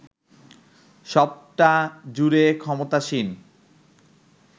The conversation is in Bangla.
সবটা জুড়ে ক্ষমতাসীন